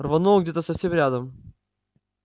рвануло где-то совсем рядом